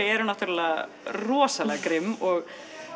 eru náttúrulega rosalega grimm og